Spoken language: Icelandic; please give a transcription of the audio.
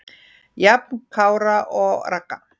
Jafn Kára og Ragga.